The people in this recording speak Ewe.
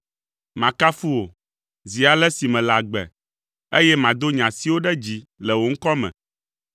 Makafu wò, zi ale si mele agbe, eye mado nye asiwo ɖe dzi le wò ŋkɔ me.